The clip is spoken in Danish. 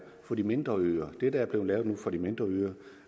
for de mindre øer det der bliver lavet nu for de mindre øer